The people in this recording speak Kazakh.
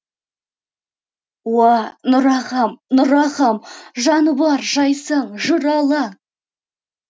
уа нұр ағам нұр ағам жаны бар жайсаң жыр алаң